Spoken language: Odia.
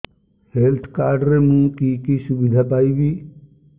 ହେଲ୍ଥ କାର୍ଡ ରେ ମୁଁ କି କି ସୁବିଧା ପାଇବି